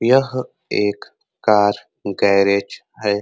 यह एक car garage है।